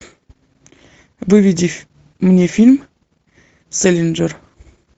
выведи мне фильм сэлинджер